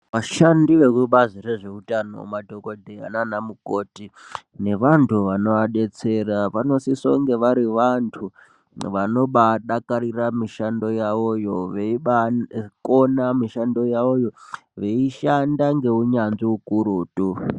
Vashandi vekubazi rezveutano madhokodheya nanamukoti nevantu vanovadetsera vanosise kunge vari vantu vanobadakarira mishando yavoyo veibakona mishando yavoyo veishanda ngeunyanzvi ukurutu.